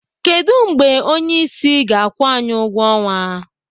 Kedụ mgbe onyeisi ga-akwụ anyị ụgwọ ọnwa?